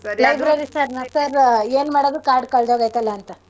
Library sir ನ sir ಏನ್ಮಾಡೋದು card ಕಳ್ದೋಗೈತಲ್ಲ ಅಂತ.